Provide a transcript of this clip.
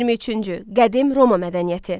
23-cü Qədim Roma mədəniyyəti.